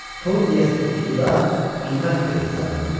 Tor yəsi pusuqda qiymət verdi zamana.